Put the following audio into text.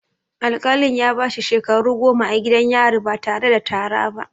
Al-kalin ya bashi shekaru goma a gidan yari ba tare da tara ba